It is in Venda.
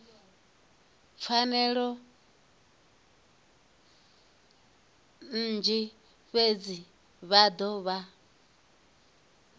pfanelo nnzhi fhedzi vha dovha